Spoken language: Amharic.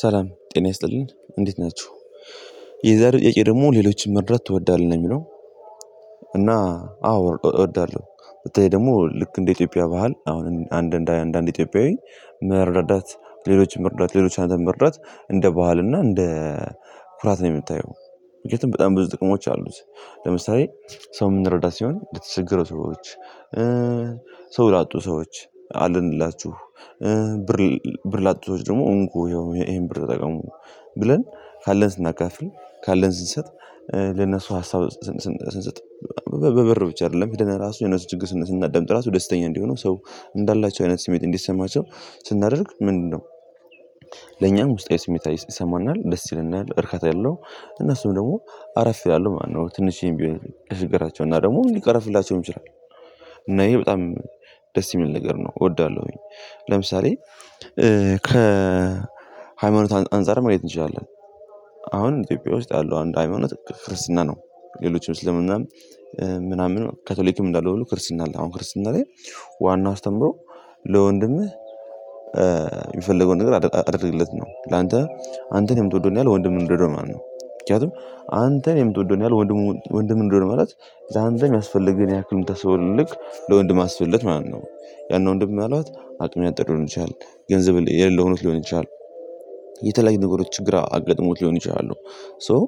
ሰላም ጤና ይስጥልን እንዴት ናችሁ የዛሬው ጥያቄ ደግሞ ሌሎችን መርዳት ትወዳለህ ነው የሚለው? እና አዎ እ እወዳለሁ በተለይ ደግሞ ልክ እንደ ኢትዮጵያ ባህል አሁን አንድ እንደ አንድ አንድ ኢትዮጵያዊ መረረዳት ሌሎችን መርዳት ሌሎችን አንተን መርዳት እንደ ባህል እና እንደ ኩራት ነው የምታየው ምክንያቱም በጣም ብዙ ጥቅሞች አሉት። ለምሳሌ ሰው የምንረዳት ሲሆን ለተቸገረ ሰዎች ሰው ላጡ ሰዎች አለንላችሁ። ብር ብር ላጡ ሰዎች ደግሞ እንኩ ይሄው ይሄን ብር ተጠቀሙ ብለን ካለን ስናካፍል ካለን ስንሰጥ። ለነሱ ሀሳብ ስንሰጥ በበብር ብቻ አይደለም ሄደን ራሱ የእነሱን ችግር ስና ዳምጥ ራሱ ደስተኛ እንዲሆነው ሰው እንዳላቸው አይነት ስሜት እንዲሰማቸው ስናደርግ ምንድነው ለኛም ውስጣዊ ስሜታዊ ይሰማናል ደስ ይለናል እርካታ ያለው እነሱም ደግሞ አረፍ ይላሉ አሉ ማለት ነው። ትንሽዬም ቢሆን ከችግራቸው እና ደግሞ ሊቀረፍላቸውም የሚችለው እና ይሄ በጣም ደስ የሚል ነገር ነው እወዳለሁኝ። ለምሳሌ ከ ከሃይማኖት አንፃር ማየት እንችላለን አሁን ኢትዮጵያ ውስጥ ያለው አንድ ሃይማኖት ክርስትና ነው። ሌሎችም እስልምናም ምናምን ካቶሊክም እንዳለው ሁሉ ክርስትና አለ አሁን ክርስትና ላይ ዋናው አስተምሮ ለወንድምህ የሚፈልገውን ነገር አድ አድርገለት ነው ላንተ አንተን የምትወደውን ያህል ወንድ ወንድምህን ውደደው ማለት ነው። ምክንያቱም አንተን የምትወደውን ያህል ወንድሙን ወንድምህን ወደደው ማለት ላንተ የሚያስፈልግ ህን ያክል የምታስበው ልክ ለወንድምህ አስብለት ማለት ነው። ያን ወንድም ምን አልባት አቅም ያጠረው ሊሆን ይችላል። ገንዘብ የሌለውን ሆኖ ሊሆን ይችላል። የተለያዩ ነገሮች ግራ አጋጥሞት ሊሆን ይችላሉ። ሶ